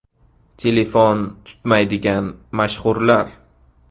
Telefon tutmaydigan mashhurlar.